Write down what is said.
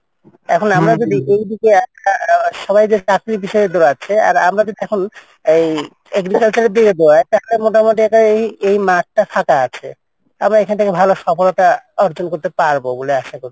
এখন আমরা যদি এই দিকে একটা সবাই চাকরির পেছনে দৌড়াছে কিন্তু আমরা যদি এই agriculture এর দিকে দৌড়াই তাহলে মোটামটি এই মাঠটা ফাঁকা রয়েছে আমরা এখান থেকে ভালো সফলতা অর্জন করতে পারবো বলে আসা করি।